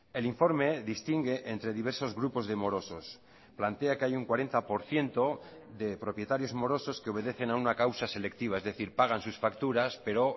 el informe distingue entre diversos grupos de morosos plantea que hay un cuarenta por ciento de propietarios morosos que obedecen a una causa selectiva es decir pagan sus facturas pero